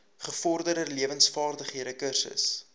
gevorderde lewensvaardighede kursus